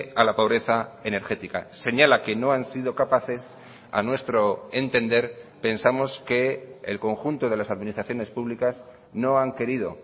a la pobreza energética señala que no han sido capaces a nuestro entender pensamos que el conjunto de las administraciones públicas no han querido